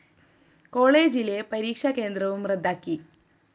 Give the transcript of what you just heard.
കോളേജിലെ പരീക്ഷ കേന്ദ്രവും റദ്ദാക്കി